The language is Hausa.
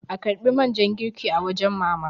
a karbi man ja girki a wajen mama!